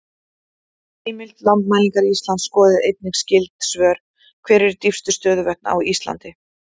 Heimild: Landmælingar Íslands Skoðið einnig skyld svör: Hver eru dýpstu stöðuvötn á Íslandi?